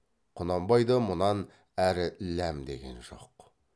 құнанбай да мұнан әрі ләм деген жоқ